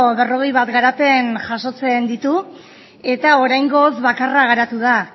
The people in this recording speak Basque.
berrogei bat garapen jasotzen ditu eta oraingoz bakarra garatu da